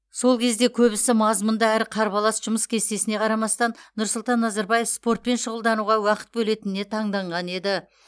сол кезде көбісі мазмұнды әрі қарбалас жұмыс кестесіне қарамастан нұрсұлтан назарбаев спортпен шұғылдануға уақыт бөлетініне таңданған еді